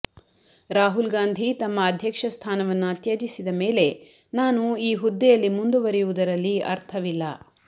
ರಾಹುಲ್ ಗಾಂಧಿ ತಮ್ಮ ಅಧ್ಯಕ್ಷ ಸ್ಥಾನವನ್ನ ತ್ಯಜಿಸಿದ ಮೇಲೆ ನಾನು ಈ ಹುದ್ದೆಯಲ್ಲಿ ಮುಂದುವರಿಯುವುದರಲ್ಲಿ ಅರ್ಥವಿಲ್ಲ